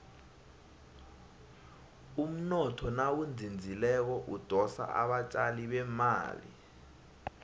umnotho nawuzinzileko udosa abatjali bemali